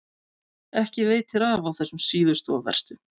Ekki veitir af á þessum síðustu og verstu.